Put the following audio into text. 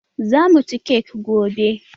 Zamu ci kek gobe